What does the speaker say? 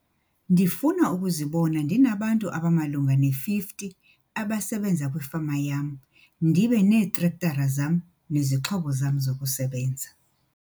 Ndifuna ukuzibona ndinabantu abamalunga ne-50 abasebenza kwifama yam ndibe neetrektara zam nezixhobo zam zokusebenza.